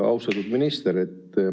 Austatud minister!